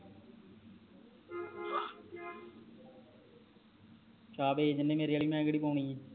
ਛਾਪ ਵੇਚ ਦੇਣੇ ਆ ਮੇਰੇ ਆਲੀ ਮੈ ਕਿਹੜੀ ਪੌਣੀ ਏ